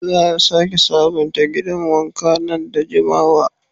Za a sake sabunta gidan wanka nan da jimawa.